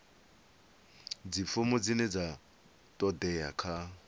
dzifomo dzine dza todea kha